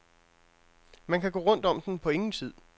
Man kan gå rundt om den på ingen tid.